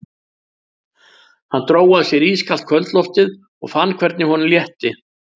Hann dró að sér ískalt kvöldloftið og fann hvernig honum létti.